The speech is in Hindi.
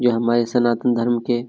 यह हमारे सनातन धर्म के--